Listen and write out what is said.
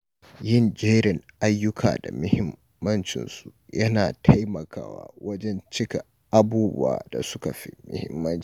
Yin jerin ayyuka da mahimmancinsu yana taimakawa wajen cika abubuwan da suka fi muhimmanci.